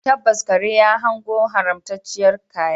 Tabbas, kare ya hango haramtacciyar kaya